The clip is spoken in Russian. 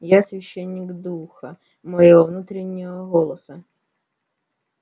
я священник духа моего внутреннего голоса